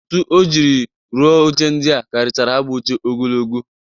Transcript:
Ntu o jiri rụa oche ndịa karịchara ha bụ oche ogologo